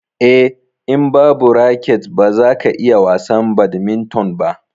Eh, in babu raket baza ka iya wasan badminton ba.